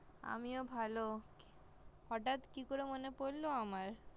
আমিও ভালো হঠাৎ কি করে মনে পড়লো আমায়